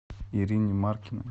ирине маркиной